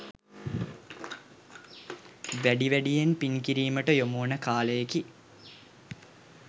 වැඩි වැඩියෙන් පින් කිරීමට යොමුවන කාලයකි.